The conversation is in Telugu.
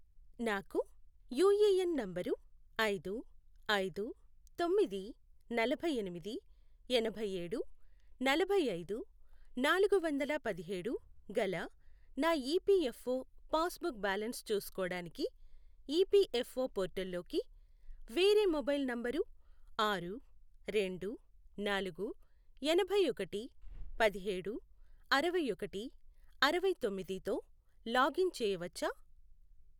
నాకు యూఏఎన్ నంబరు ఐదు, ఐదు, తొమ్మిది, నలభైఎనిమిది, ఎనభైఏడు, నలభైఐదు, నాలుగు వందల పదిహేడు, గల నా ఈపిఎఫ్ఓ పాస్బుక్ బ్యాలన్స్ చూసుకోడానికి ఈపిఎఫ్ఓ పోర్టల్లోకి వేరే మొబైల్ నంబరు ఆరు, రెండు, నాలుగు, ఎనభైఒకటి, పదిహేడు, అరవైఒకటి, అరవైతొమ్మిది, తో లాగిన్ చేయవచ్చా?